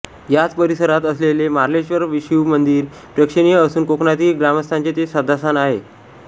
याच परिसरात असलेले मार्लेश्वर शिवमंदिर प्रेक्षणीय असून कोकणातील ग्रामस्थांचे ते श्रद्धास्थान आहे